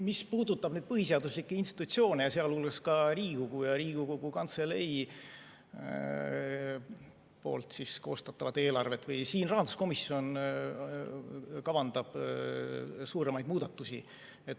Mis puudutab põhiseaduslikke institutsioone, sealhulgas ka Riigikogu ja Riigikogu Kantselei poolt koostatavat eelarvet, siis siin rahanduskomisjon kavandab suuremaid muudatusi.